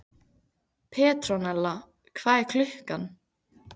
Petrónella, hvað er klukkan?